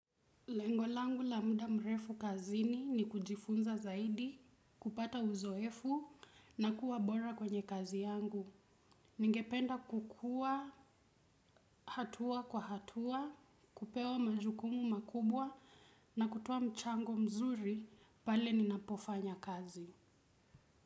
Lengo langu la muda mrefu kazini ni kujifunza zaidi, kupata uzoefu na kuwa bora kwenye kazi yangu. Ningependa kukua, hatua kwa hatua, kupewa majukumu makubwa na kutoa mchango mzuri pale ninapofanya kazi.